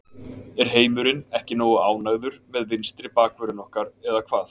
Er heimurinn ekki nógu ánægður með vinstri bakvörðinn okkar eða hvað?